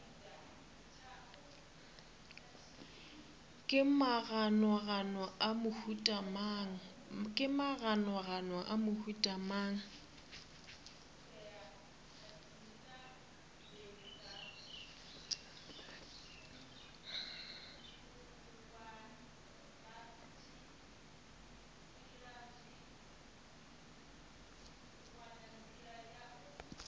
ke maganogano a mohuta mang